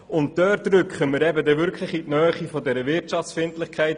Damit rücken wir in die Nähe der von Herrn Mentha erwähnten Wirtschaftsfeindlichkeit.